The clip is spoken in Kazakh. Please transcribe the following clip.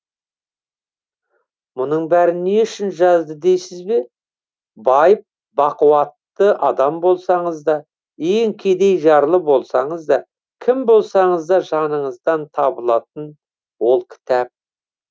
мұның бәрін не үшін жазды дейсіз бе байып бақуатты адам болсаңыз да ең кедей жарлы болсаңыз да кім болсаңыз да жаныңыздан табылатын ол кітап